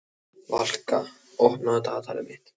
Valka, opnaðu dagatalið mitt.